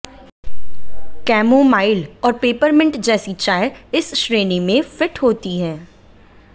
chamomile और peppermint जैसी चाय इस श्रेणी में फिट होती है